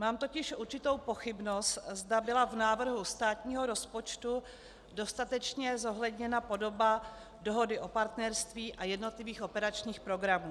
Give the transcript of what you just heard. Mám totiž určitou pochybnost, zda byla v návrhu státního rozpočtu dostatečně zohledněna podoba Dohody o partnerství a jednotlivých operačních programů.